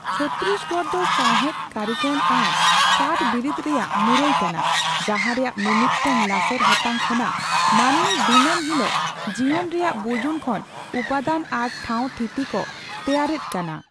ᱪᱷᱚᱛᱛᱤᱥᱜᱚᱲ ᱫᱚ ᱥᱟᱣᱦᱮᱫ, ᱠᱟᱹᱨᱤᱜᱚᱞ ᱟᱨ ᱠᱟᱴᱷᱵᱤᱨᱤᱫ ᱨᱮᱭᱟᱜ ᱢᱩᱨᱟᱹᱭ ᱠᱟᱱᱟ, ᱡᱟᱦᱟᱸ ᱨᱮᱭᱟᱜ ᱢᱤᱼᱢᱤᱫ ᱴᱟᱝ ᱞᱟᱥᱮᱨ ᱦᱟᱛᱟᱝ ᱠᱷᱚᱱᱟᱜ ᱢᱟᱹᱱᱢᱤ ᱫᱤᱱᱟᱹᱢ ᱦᱤᱞᱳᱜ ᱡᱤᱭᱚᱱ ᱨᱮᱭᱟᱜ ᱵᱩᱡᱩᱱ ᱠᱷᱚᱱ ᱩᱯᱟᱹᱫᱟᱱ ᱟᱨ ᱴᱷᱟᱣ ᱛᱷᱤᱛᱤ ᱠᱚ ᱛᱮᱭᱟᱨᱮᱫ ᱠᱟᱱᱟ ᱾